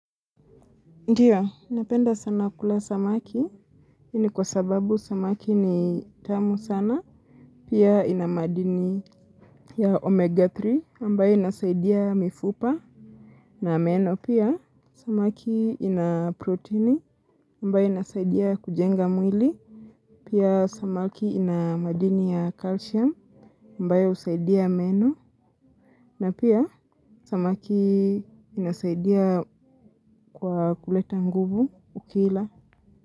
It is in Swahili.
Ndio, napenda sana kula samaki, hii ni kwa sababu samaki ni tamu sana, pia ina madini ya omega tatu, ambayo inasaidia mifupa, na meno pia, samaki ina proteini, ambayo inasaidia kujenga mwili, pia samaki ina madini ya calcium, ambayo husaidia meno, na pia samaki inasaidia kwa kuleta nguvu, ukila.